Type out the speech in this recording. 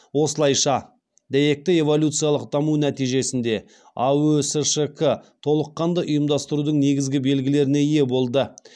осылайша дәйекті эволюциялық даму нәтижесінде аөсшк толыққанды ұйымдастырудың негізгі белгілеріне ие болды